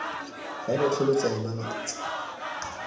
fa lotlhe lo tsaya malatsi